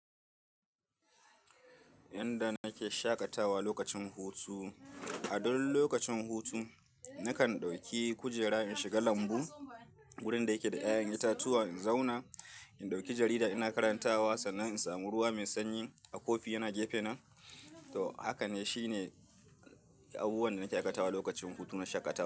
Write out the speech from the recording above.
Inda nake shaƙatawa lokacin hutu. A duk lokacin hutu nakan ɗauki kujera in shiga lambu wurin da yake da ƴaƴan itatuwa in zauna, in ɗauki jarida ina karantawa sannan in samu ruwa mai sanyi a kofi yana gefena. To haka ne shine abubuwan da nake aikatawa lokacin hutu na shaƙatawa.